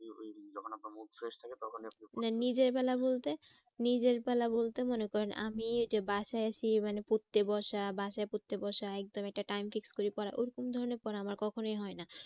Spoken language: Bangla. নিজের বলা বলতে, নিজের বেলা বলতে মনে করেন আমি এই যে বাসায় আছি এই মানে পড়তে বসা বাসায় পড়তে বসা একদম একটা time fixed করে পড়া ওরকম ধরণের পড়া আমার কখনোই হয় না